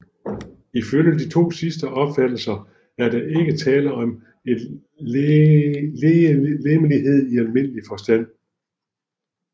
Ifølge de to sidste opfattelser er der ikke tale om en legemlighed i almindelig forstand